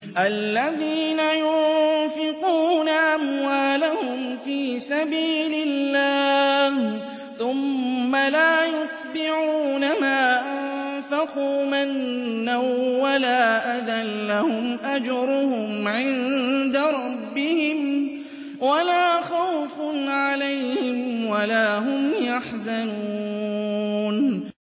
الَّذِينَ يُنفِقُونَ أَمْوَالَهُمْ فِي سَبِيلِ اللَّهِ ثُمَّ لَا يُتْبِعُونَ مَا أَنفَقُوا مَنًّا وَلَا أَذًى ۙ لَّهُمْ أَجْرُهُمْ عِندَ رَبِّهِمْ وَلَا خَوْفٌ عَلَيْهِمْ وَلَا هُمْ يَحْزَنُونَ